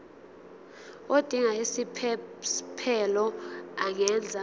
odinga isiphesphelo angenza